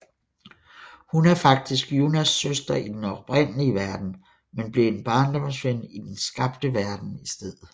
Hun er faktisk Junnas søster i den oprindelige verden men blev en barndomsven i den skabte verden i stedet